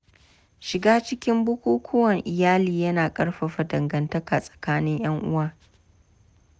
Shiga cikin bukukkuwan iyali yana ƙarfafa dangantaka tsakanin ‘yan uwa.